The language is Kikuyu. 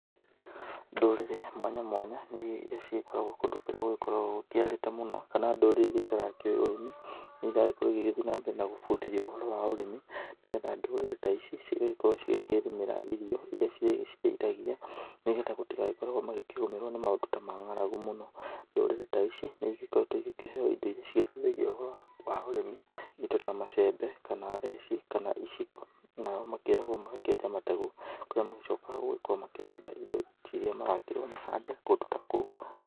Ndũrĩrĩ mwanya mwanya irĩa cigĩkoragwo kũndũ gũkiarĩte mũno kana ndũrĩrĩ iria itarakĩũwĩ ũrĩmi nĩ iragĩkorwo igĩthiĩ na mbere na gũbundithio ũhoro wa ũrĩmi. Nĩgetha ndũrĩrĩ ta ici cigagĩkorwo cikĩrĩmĩra irio irĩa cirĩgĩciteithagia nĩgetha matigagĩkoragwo makĩgũmĩrwo nĩ maũndũ ta ma ng'aragu mũno. Ndũrĩrĩ ta ici nĩ igĩkoretwo igĩkĩheo indo iria cigĩteithagia ũhoro wa ũrĩmi, indo ta macembe kana theci kana iciko. Nao makeragwo magakĩenja mategu marĩa macokaga gũgĩkorwo makĩhanda indo cirĩa marakĩrwo mahande kũndũ ta kũu.